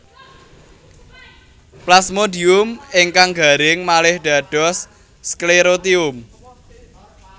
Plasmodium ingkang garing malih dados sklerotium